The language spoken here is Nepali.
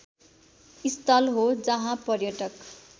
स्थल हो जहाँ पर्यटक